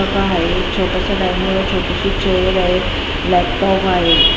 आहे छोटंसं डायनिंग आहे छोटीशी चेअर आहे लॅपटॉप आहे.